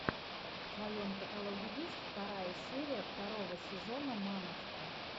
в твоем каталоге есть вторая серия второго сезона мамочки